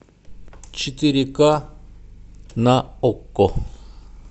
четыре ка на окко